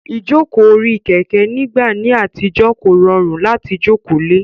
Ìjókòó orí Kẹ̀kẹ́ nígbà ní àtijọ́ kò rọrùn láti jókòó le